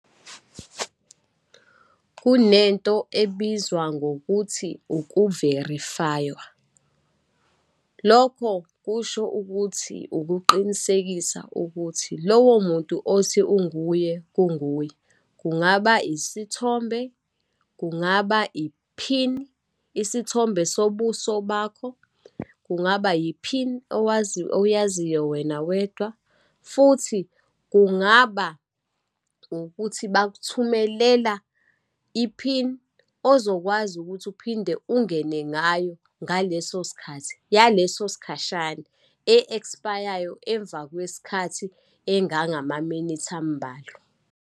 Kunento ebizwa ngokuthi ukuverifywa, lokho kusho ukuthi ukuqinisekisa ukuthi lowo muntu othi unguye, kunguwe, kungaba isithombe, kungaba iphini, isithombe sobuso bakho, kungaba iphini oyaziyo wena wedwa, futhi kungaba ukuthi bakuthumelela iphini ozokwazi ukuthi uphinde ungene ngayo ngaleso sikhathi, yaleso sikhashana e-expire-yo emva kwesikhathi engangamaminithi ambalwa.